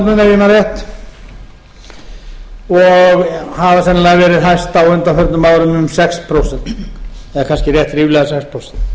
man rétt og hafa sennilega verið hæstir á undanförnum árum um sex prósent eða kannski rétt ríflega sex prósent